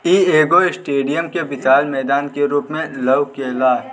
ई एगो स्टेडियम के विशाल मैदान के रूप में ।